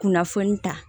Kunnafoni ta